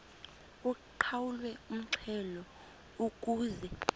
uqhawulwe umxhelo ukuze